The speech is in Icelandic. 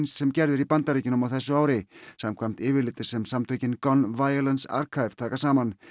sem gerð er í Bandaríkjunum á þessu ári samkvæmt yfirliti sem samtökin Gun Violence Archive taka saman